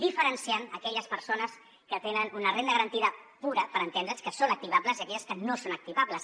diferenciant aquelles persones que tenen una renda garantida pura per entendre’ns que són activables i aquelles que no són activables